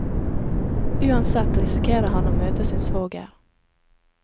Uansett risikerer han å møte sin svoger.